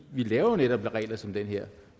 vi laver netop regler som dem her